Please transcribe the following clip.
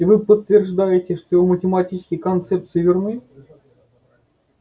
и вы подтверждаете что его математические концепции верны